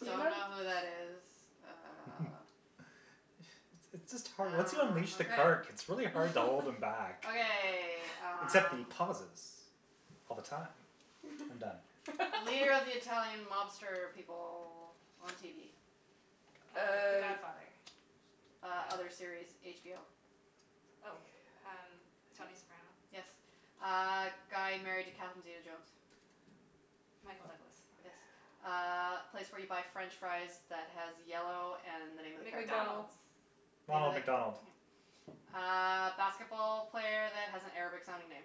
So you Don't m- know who that is. Uh. It's it's just hard Once you Ah, unleash the okay. Kirk, it's really hard to hold him back. Okay, Except the um. pauses all the time. I'm done. Leader of the Italian mobster people on TV. Uh, the Uh. Godfather. Uh, Oh. other series, HBO. God. Oh, um, I don't Tony Soprano. Yes. Uh, guy married to Catherine zeta-jones. Michael Douglas. Yes. Uh, place where you buy French fries that has yellow and the name of the character. McDonald's. McDonald's. Name of Ronald the McDonald. yeah Uh basketball player that has an Arabic sounding name.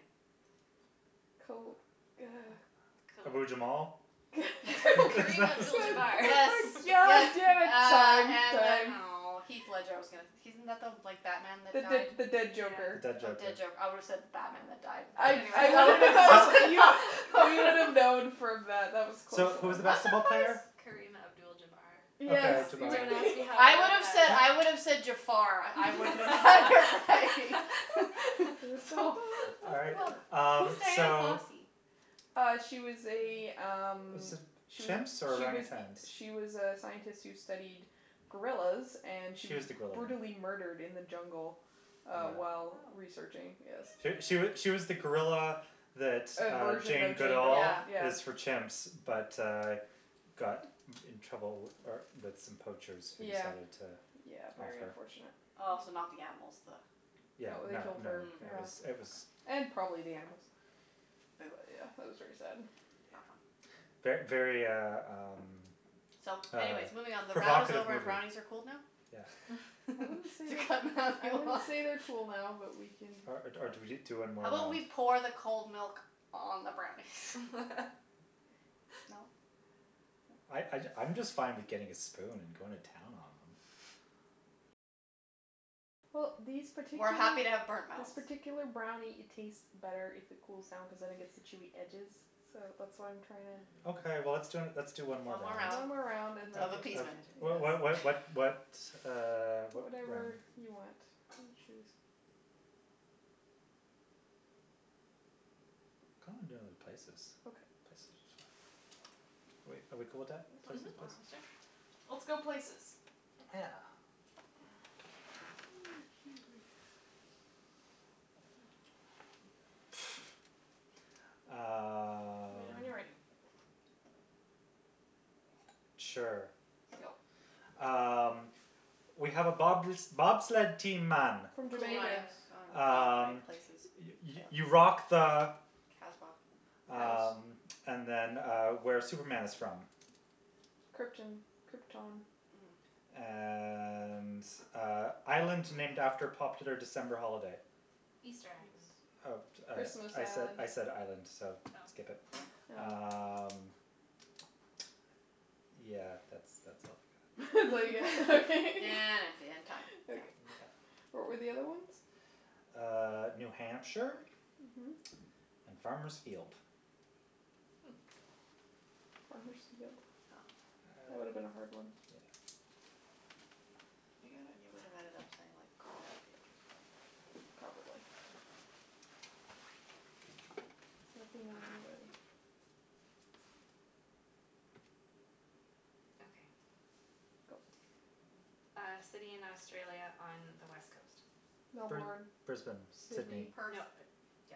Kobe, uh Ke- Abu Jamal? K- Karim Abdul Jabbar. Yes, yes. yeah, Uh, time, and then, time. oh, Heath Ledger, I was gonna he isn't like the Batman that The the died? the dead The joker. Yeah. dead Oh, joker. dead joker. I would have said the Batman that died, but I anyways, I that would have been close enough We would have known from that. That was close So, who was enough. the I'm basketball player? surprised Kareem Abdul Jabbar. Yes Okay, Jabar. Don't ask Yeah. me how I I know would have that. said, I would have said Jafar. I wouldn't have bothered by It was so so All right, bad. um, Who's Dian so. Fossey? Uh, she was a, um, Was it she was, chimps or she was, orangutans? she was a scientist who studied gorillas and she She was was the gorilla one. brutally murdered in the jungle uh while Yeah. researching, Oh. yes. She she she was the gorilla that A uh version Jane of Jane Goodall Duvall, Yeah. yeah. is for chimps but, uh, got in trouble uh with some poachers who Yeah. decided to Yeah, off very her. unfortunate. Oh, so Mm. not the animals, the No, Yeah, they no, killed no, her, Mm, it yeah. was, it was. okay. And probably the animals. But Boo. wa- yeah, that was very sad. Not fun. Yeah. Ver- very, uh, um, So, um anyways, moving on. The round is provocative over and movie. brownies are cooled now? Yeah. I wouldn't say To they're, cut I Natalie wouldn't off say they're cool now, but we can. Or or do we do one How more about round? we pour the cold milk on the brownies? No? I No? I I'm just fine with getting a spoon and going to town on them. Well, these We're particular, happy to have burnt this mouth. particular brownie, it tastes better if it cools down cuz then it gets the chewy edges, so that's why I'm trying to. Okay, well, let's d- let's do one more One more round One round more Mm. round and then, of uh uh of appeasement. What what what yes. what what, uh, what one? Whatever you want, you choose. Kinda wanna do places. Okay. Places are fun. Are we are we cool with that, That's Mhm, places, fine, places? sure. whatever. Whatever. Let's go places. Yeah. Excuse me. Let me know Um. when you're ready. Sure. Go. Um, we have a bob- bobsled team, man. From Cool Jamaica. runnings. Jamaica. Oh, right, Um, places. you you Fail. you rock the Kasbah. House. Um, and then, uh, where Superman is from. Krypton. Krypton. Mm. And, uh, island named after popular December holiday. Easter Island. Eas- Uh, uh, Christmas I Island. said island, so skip Oh. it. Mm. Oh. Um, yeah, that's that's all I got. That's all you get. Okay. empty and time. Yeah. Okay. Yeah. What were the other ones? Uh, New Hampshire Mhm. and Farmer's Field. Hmm. Farmer's Field? Oh. That would have been a hard one. Yeah. You got it? You would have ended up saying like corn field or something. Probably. Mm. Let me know when you're ready. Okay. Go. Uh, city in Australia on the West coast. Br- Melbourne, Brisbane, Sydney. Sydney. Nope, Perth. yeah.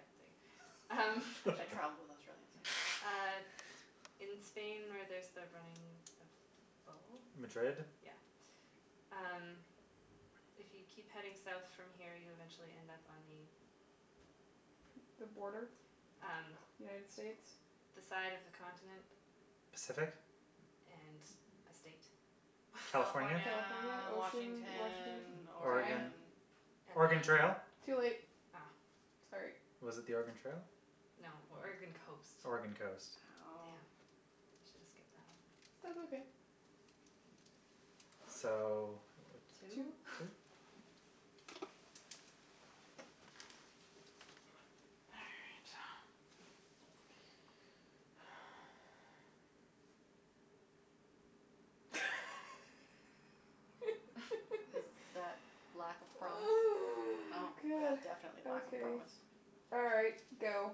Um, I travelled in Australia, so. uh, in Spain where there's the running of the Madrid? bulls. Yeah. Um, if you keep heading South from here, you eventually end up on the The border? Um, United States? the side of the continent. Pacific? And the state. California? California, California, ocean, Washington? Washington, Time. Oregon? Oregon. Oregon And then. Trail? Too late. Oh. Sorry. Was it the Oregon Trail? No, Oregon coast. Oregon coast. Damn, I Oh. Oh. should have skipped that one. That's okay. So, what, Two. Two? two? All right. Is that lack of promise? Oh, Oh, yeah, god. definitely lack of Okay. promise. All right, go.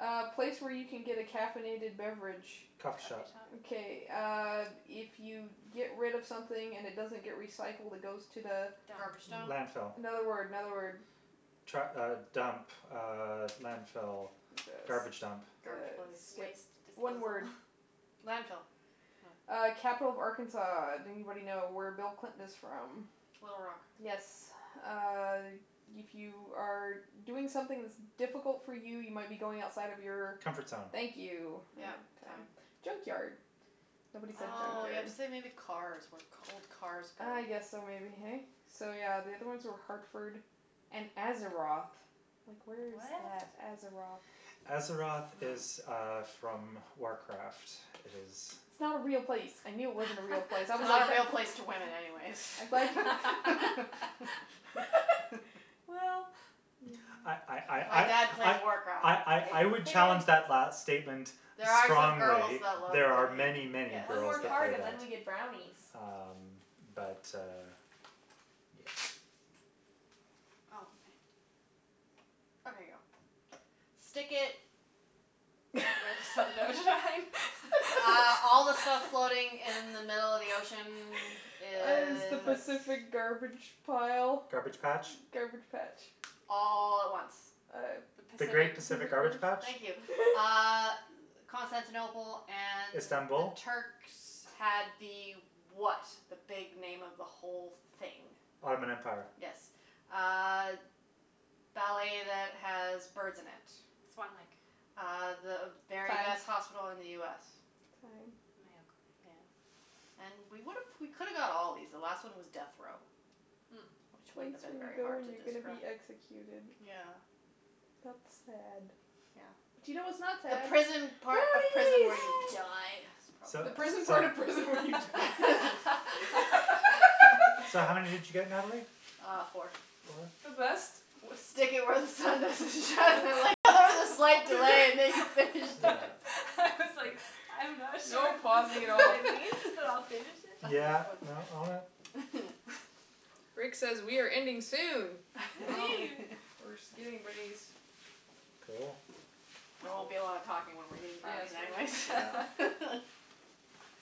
A place where you can get a caffeinated beverage. Coffee Coffee shop. shop. Okay, uh, if you get rid of something and it doesn't get recycled, it goes to the Dump. Garbage dump. Landfill. Another word, another word. Tru- uh, dump, uh, landfill, garbage dump. Garbage place. Skip. Waste One disposal. word. Landfill. No. Uh, capital of Arkansas. Do anybody know where Bill Clinton is from? Little Rock. Yes. Uh, if you are doing something that's difficult for you, you might be going outside of your Comfort zone. Thank you. Yep, Uh time. time. Junkyard. Nobody said Oh, you have junkyard. to say Oh. maybe cars, where old cars go. Ah, yes, so maybe, hey? So, yeah, the other ones Hmm. were Hartford and Azeroth. Like, where is What? that? Azeroth? Azeroth Mm. is, uh, from Warcraft. It is. It's not a real place. I knew it wasn't a real place. I was Not like a real place to women, anyways I'm glad Well, I I yeah. My I dad plays I I Warcraft. I I Hey, I would hey, challenge that last Nattie. statement There are some girls strongly. that love There are the many, game, many yes, One girls more that card play and then that. we yes. get brownies. Um, but, uh, yeah. Oh, ma- Okay, Okay, go. go. Stick it. Where the sun don't shine? Uh all the stuff floating in the middle of the ocean Is the is. Pacific That's. garbage pile? Garbage patch. Garbage patch? All at once. Uh. The The great Pacific. Pacific garbage patch. Thank you. Uh, Constantinople and the Istanbul? Turks had the what, the big name of the whole thing? Ottoman Empire. Yes. Uh, ballet that has birds in it. Swan Lake. Uh, the very Time. best hospital in the US. Time. Mayo Clinic. Yeah. And we would've, we could've got all of these. The last one was death row, Hmm. which The wouldn't place have been you very go hard when to you're gonna describe. be executed. Yeah. That's sad. Yeah. But you know what's not The sad? prison part of prison Brownies. where you die. Yay! So, The prison part so. of prison when you die. So how many did you get, Natalie? Uh, four. Four? The best. Was stick it where the sun doesn't shine. I like how there was a slight delay and then you finished Yeah. it. I was like, I'm not sure No if this pausing at is what all. it means, but I'll finish it. That was Yeah, funny. no, all right. Rick says we are ending soon. Well, Woohoo. we're just getting rid of these. Cool. There won't be a lot of talking when we're eating Yes, brownies, we're not anyways. Yeah.